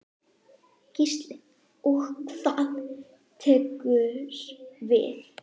Gísli: Og hvað tekur við?